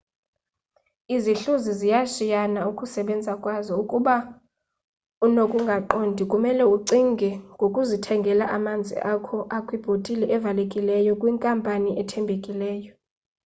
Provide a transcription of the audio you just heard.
izihluzi ziyashiyana ukusebenza kwazo ukuba unokungaqondi kumele ucinge ngokuzithengela amanzi akho akwibhotile evalekileyo yenkampani ethembakeleyo